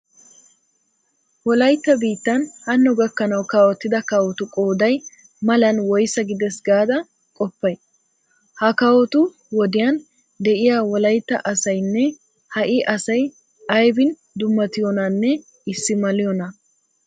Wolaytta biittan hanno gakkanawu kawotida kawotu qooday malan woysaa gidees gaada qoppay? Ha kawotu wodiyan de'iya wolaytta asaynne ha"i asay aybin dummatiyonaanne issi maliyonaa?